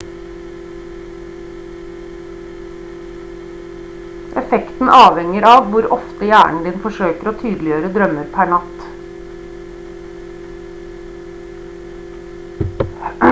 effekten avhenger av hvor ofte hjernen din forsøker å tydeliggjøre drømmer per natt